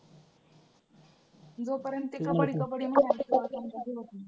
जोपर्यंत ते कबड्डी कबड्डी